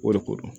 O de ko don